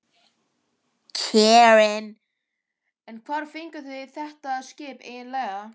Karen: En hvar fenguð þið þetta skip eiginlega?